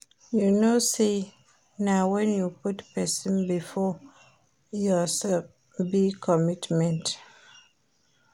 You no know sey na wen you put pesin before yoursef be commitment